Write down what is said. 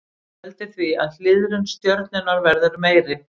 Það veldur því að hliðrun stjörnunnar verður meiri.